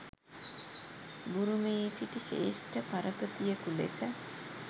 බුරුමයේ සිටි ශ්‍රේෂ්ඨ පරපතියෙකු ලෙස